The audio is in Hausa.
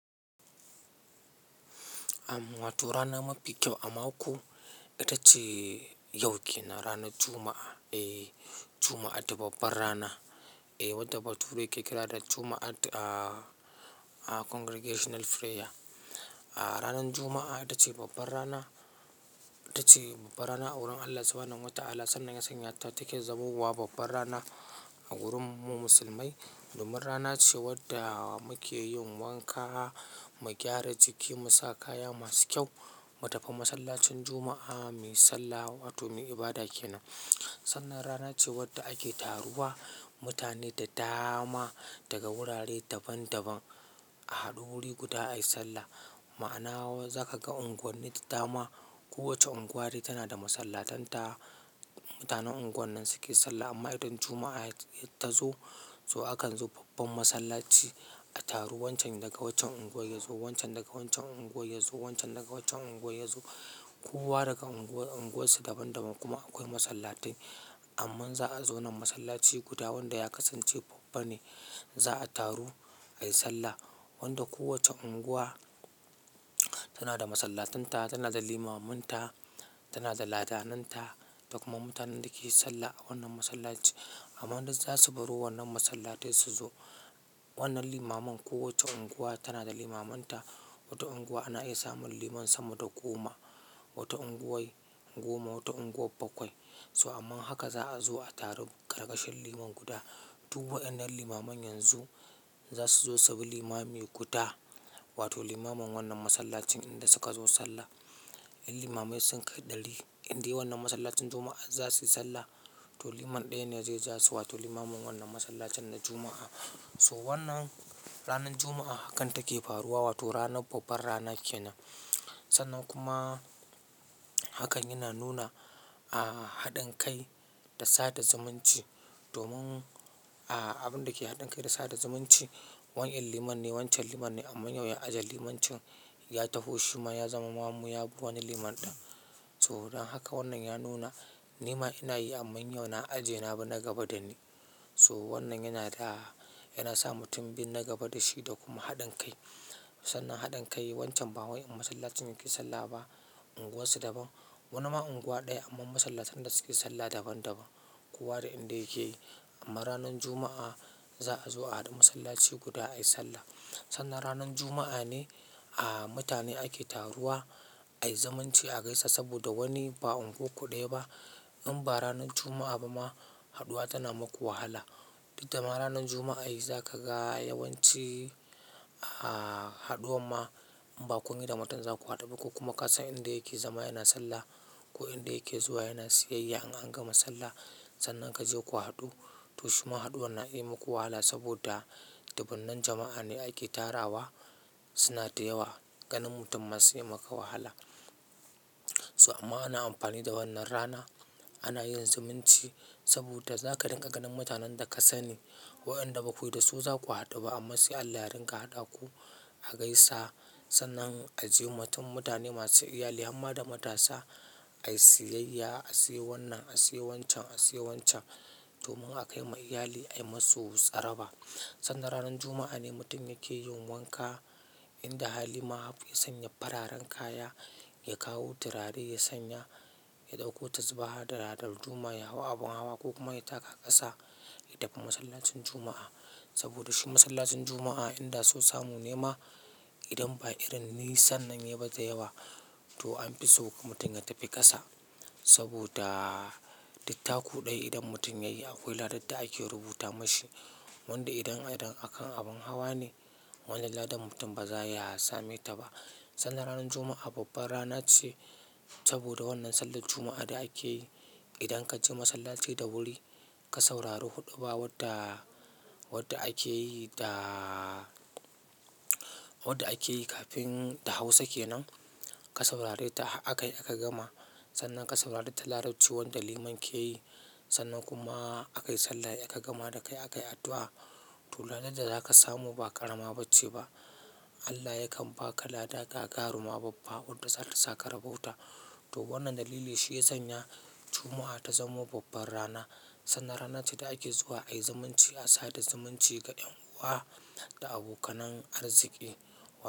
Amma wato rana mafi kyau a mako itacce yau kennan rannan juma'a eh jumma'a ta babba rana Eh, wadda bature yake kira da Juma'at a-a Congregational Prayer. A ranar Juma'a ita ce babbar rana, ita ce babbar rana a wurin Allah subhanahu wa Ta'ala. Sannan yana sanya ta take zamo wa babbar rana a wurin mu musulmai. Domin rana ce wadda muke yin wanka, mu gyara jiki, mu sa kaya masu kyau, mu tafi masallacin Juma'a mu yi sallah, wato mu yi ibada kenan. Sannan rana ce wadda ake taruwa mutane da dama daga wurare daban daban a haɗu wuri guda ayi sallah. Ma'anawa za ka ga unguwanni da dama. Kowace unguwa dai tana da masallatan ta. Mutanen unguwar nan suke sallah. Amma idan Juma'a tazo to akan zo babban masallaci a taru wancan daga waccan unguwa ya zo, wancan daga waccan unguwa ya zo, wancan daga waccan unguwa ya zo. Kowa daga unguwa unguwasu daban daban kuma akwai masallatai amma za a zo nan masallaci guda wanda ya kasance babba ne za a taru ayi sallah. Wanda kowacce unguwa tana da masallatanta, tana da limaman ta, tana da ladananta da kuma mutanen da ke sallah a wannan masallaci. Amman duk zasu baro wannan masallatai su zo wannan limaman. Kowacce unguwa tana da limaman ta. Wata unguwa ana iya samun liman sama da goma, wata unguwa goma, wata unguwa bakwai. So amma haka za a zo a taru ƙarƙashin liman guda. Du wa'inar limaman yanzu za su zo subi limami guda, wato limamin wannan masallacin inda suka zo sallah. Limamai sun kai ɗari. Inde wannan masallacin Juma'a za su yi sallah, to liman ɗaya ne zai za su, wato limamin wannan masallacin na Juma'a. So wannan ranar Juma'a hakan take faruwa, wato ranar babbar rana kenan. Sannan kuma hakan yana nuna, a, haɗin kai da sada zumunci domin, a, abin da ke haɗin kai da sada zumunci. Wani in liman ne, wancan liman ne amma yau ya ajiye limancin ya tafo shima ya zama mamun yabi liman ɗan. So don haka wannan ya nuna nima ina yi amma yau na ajiye na bi nagaba da ni. So wannan yana da, yana sa mutum bin na gaba da shi da kuma haɗin kai. Tanan haɗin kai wancan ba wai a masallacin yake sallah ba. Unguwarsu daban. Wani ma unguwa ɗaya amma masallatan da suke sallah daban daban. Kowa da inda yake yi. Amma ranar Juma'a za a zo a haɗu masallaci guda ayi sallah. Sannan ranar Juma'a ne, a, mutane ake taruwa ayi zumunci a gaisa saboda wani ba unguwa ku ɗaya ba. Inba ranan juma'a ba ma haɗuwa tana maku wahala Duddama ranar Juma'a yayi za ka ga yawanci, aa, haɗuwa ma in ba kunyi da mutum za ku haɗu ba. Kuka kuma kasa inda yake zama yana sallah ko inda yake zuwa yana siyayya in an gama sallah. Sannan ka je ku haɗu. To shima haɗuwar na iya yi muku wahala saboda dubban nan jama'a ne ake tarawa. Suna da yawa. Ganin mutum ma sai yamaka wahala. So amma ana amfani da wannan rana ana yin zumunci saboda za ka dinga ganin mutanen da ka sani. Wa'inda baku yi da su za ku haɗu ba. Amma sai Allah ya ringa haɗa ku a gaisa. Sannan a je mutum mutane masu iyali har ma da matasa ayi siyayya, a siyo wannan, a siyo wancan, a siyo wancan domin a kaima iyali ayi masu tsarewa. Sannan ranar Juma'a ne mutum yake yin wanka inda halima harya sanya fararen kaya, ya kawo turare ya sanya, ya ɗauko tazubaha da darduma ya hau abin hawa ko kuma ya taka ƙasa ya tafi masallacin Juma'a. Saboda shi masallacin Juma'a inda so samu nema idan ba irin nisan nan yayi ba da yawa to an fi so mutum ya tafi ƙasa. Saboda duk taku ɗaya idan mutum ya yi akwai ladar da ake rubuta mashi. Wanda idan irin a kan abun hawa ne wannan ladan mutum ba zaya sametaba sannan ranar Juma'a babbar rana ce saboda wannan sallar Juma'a da ake yi. Idan ka je masallaci da wuri ka saurari huɗuba wadda, wadda ake yi da wadda ake yi kafin da Hausa ke nan ka saurare ta har akayi aka gama. Sannan ka saurari ta Larabci wanda liman ke yi. Sannan kuma aka yi sallar a gama da kai aka yi addu'a. To ladar da za ka samu ba ƙarama ba ce ba. Allah yakan ba ka ladar gagaruma babba wadda zata sa ka rabauta. To wannan dalili shi ya sanya Juma'a ta zamo babbar rana. Sannan rana ce da ake zuwa ayi zumunci a sada zumunci ga ƴan uwa da abokanan arziki.